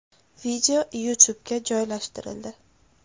Video YouTube’ga joylashtirildi.